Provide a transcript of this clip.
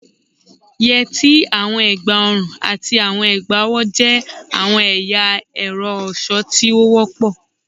Yeti, awọn egbaorun, ati awọn egbaowo jẹ awọn ẹya ẹrọ ọṣọ ti o wọpọ